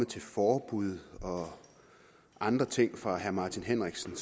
til forbud og andre ting fra herre martin henriksen